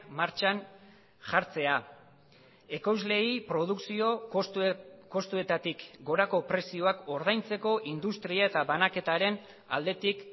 martxan jartzea ekoizleei produkzio kostuetatik gorako prezioak ordaintzeko industria eta banaketaren aldetik